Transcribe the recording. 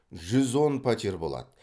жүз он пәтер болады